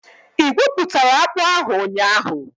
Ị igwuputara akpu ahu ụnyahụ?